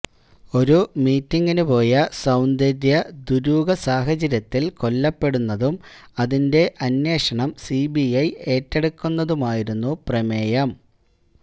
ഒരു മീറ്റിംഗിനുപോയ സൌന്ദര്യ ദുരൂഹസാഹചര്യത്തില് കൊല്ലപ്പെടുന്നതും അതിന്റെ അന്വേഷണം സി ബി ഐ ഏറ്റെടുക്കുന്നതുമായിരുന്നു പ്രമേയം